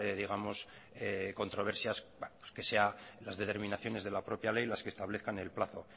digamos controversias que sea las determinaciones de la propia ley las que establezcan el plazo